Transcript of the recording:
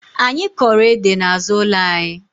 Anyi Koro ede n'azu ulo anyi